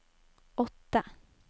åtte